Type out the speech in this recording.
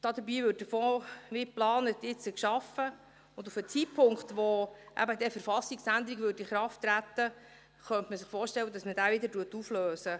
Dabei würde der Fonds nun wie geplant geschaffen und auf den Zeitpunkt, wo eben eine Verfassungsänderung in Kraft treten würde, könnte man sich vorstellen, dass man diesen wieder auflöst.